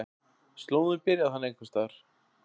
Slóðinn byrjar þarna einhvers staðar.